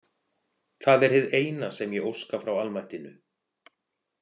Það er hið eina sem ég óska frá almættinu.